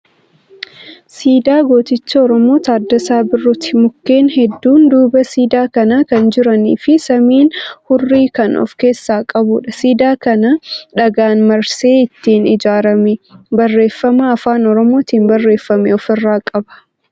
Siidaa gooticha Oromoo Taaddasaa Birruuti. Mukkeen hedduun duuba siidaa kanaa kan jiranii fi samiin hurrii kan of keessaa qabuudha. Siidaa kana dhagaan marsee itti ijaarameera. Barreeffama afaan Oromootin barreeffame ofirraa qaba.